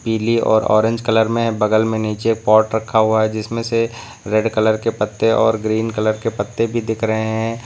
पीली और orange colour में बगल में नीचे पॉट रखा हुआ है जिसमें से रेड कलर के पत्ते और ग्रीन कलर के पत्ते भी दिख रहे हैं।